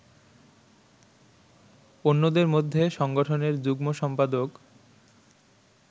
অন্যদের মধ্যে সংগঠনের যুগ্ম সম্পাদক